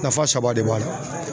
Nafa saba de b'a la